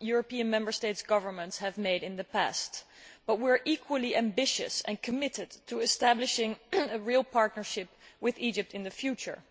European Member State governments have made in the past, but we are equally ambitious and committed to establishing a real partnership with Egypt in the future.